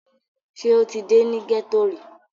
Ṣé o ti dé ní gẹ́ẹ́tò rí?